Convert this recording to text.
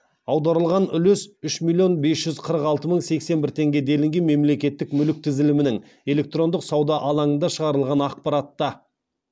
аударылған үлес үш миллион бес жүз қырық алты мың сексен бір теңге делінген мемлекеттік мүлік тізімінің электрондық сауда алаңында шығарылған ақпаратта